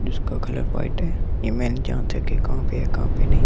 जिसका colour white है यह मैं नहीं जानता कि कहां पे है कहां पे नहीं ।